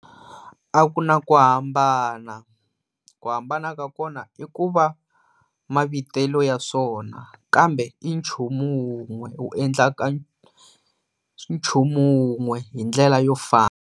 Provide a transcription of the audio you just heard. A ku na ku hambana, ku hambana ka kona i ku va mavitelo ya swona kambe i nchumu wun'we wu endlaka nchumu wun'we hi ndlela yo fana.